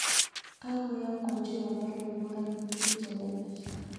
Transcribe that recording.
Kagoyokwan Juma baruonok alak tugul chelelach